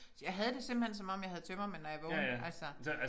Jeg havde det simpelthen som om jeg havde tømmermænd når jeg vågnede altså